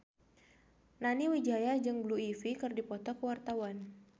Nani Wijaya jeung Blue Ivy keur dipoto ku wartawan